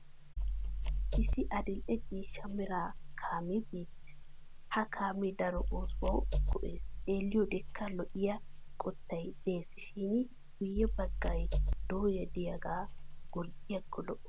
Issi adil'e ciishsha mera kaamee beettes. Ha kaamee daro oosuwawu go'es xeelliyodekka lo'iya qottay des shin guyye baggaa dooya diyagaa gorddiyaakko lo'o.